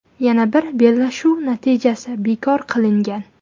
Yana bir bellashuv natijasi bekor qilingan.